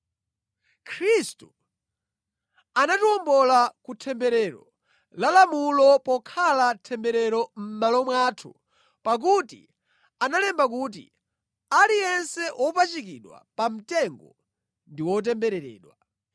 Khristu anatiwombola ku temberero la lamulo pokhala temberero mʼmalo mwathu, pakuti analemba kuti, “Aliyense wopachikidwa pamtengo ndi wotembereredwa.”